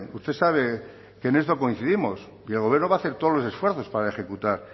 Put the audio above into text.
usted sabe que en esto coincidimos y el gobierno va a hacer todos los esfuerzos para ejecutar